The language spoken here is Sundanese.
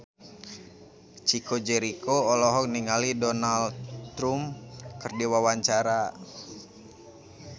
Chico Jericho olohok ningali Donald Trump keur diwawancara